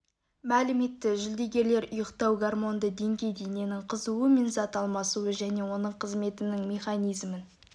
мәлім етті жүлдегерлер ұйықтау гормонды деңгей дененің қызуы мен зат алмасуы және оның қызметінің механизмін